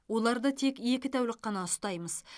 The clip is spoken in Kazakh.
оларды тек екі тәулік қана ұстаймыз